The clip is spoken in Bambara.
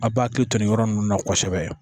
A b'a hakili to nin yɔrɔ ninnu na kosɛbɛ